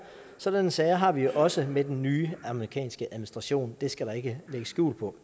sådanne sager har vi også med den nye amerikanske administration det skal der ikke lægges skjul på